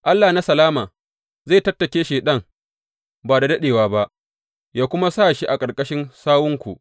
Allah na salama zai tattake Shaiɗan ba da daɗewa ba yă kuma sa shi a ƙarƙashin sawunku.